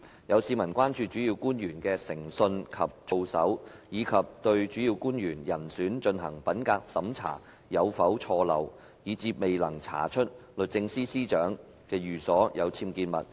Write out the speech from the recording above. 有市民關注主要官員的誠信及操守，以及對主要官員人選進行的品格審查有否錯漏，以致未能查出律政司司長的寓所有僭建物。